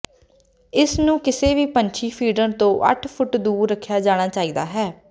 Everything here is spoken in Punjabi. ਇਸ ਨੂੰ ਕਿਸੇ ਵੀ ਪੰਛੀ ਫੀਡਰ ਤੋਂ ਅੱਠ ਫੁੱਟ ਦੂਰ ਰੱਖਿਆ ਜਾਣਾ ਚਾਹੀਦਾ ਹੈ